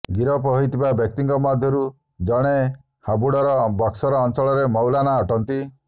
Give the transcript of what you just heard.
ଗିରଫ ହୋଇଥିବା ବ୍ୟକ୍ତିଙ୍କ ମଧ୍ୟରୁ ଜଣେ ହାବୁଡ଼ର ବକ୍ସର ଅଞ୍ଚଳର ମୌଲାନା ଅଟନ୍ତି